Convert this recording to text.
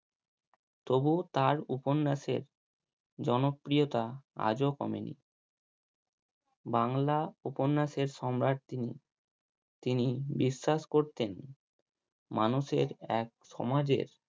তবুও তার উপন্যাসে জনপ্রিয়তা আজও কমেনি বাংলা উপন্যাসের সম্রাট তিনি, তিনি বিশ্বাস করতেন মানুষের এক সমাজে